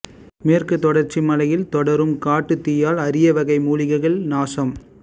மேற்குத்தொடர்ச்சி மலையில் தொடரும் காட்டு தீயால் அரிய வகை மூலிகைகள் நாசம்